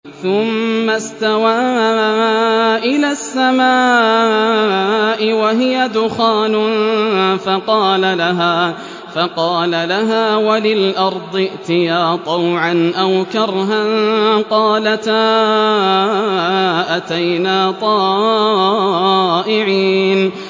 ثُمَّ اسْتَوَىٰ إِلَى السَّمَاءِ وَهِيَ دُخَانٌ فَقَالَ لَهَا وَلِلْأَرْضِ ائْتِيَا طَوْعًا أَوْ كَرْهًا قَالَتَا أَتَيْنَا طَائِعِينَ